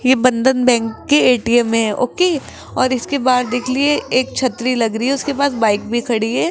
यह बंधन बैंक के ए_टी_एम में ओ_के और इसके बाद देख लिए एक छतरी लग रही है उसके बाद बाइक भी खड़ी है।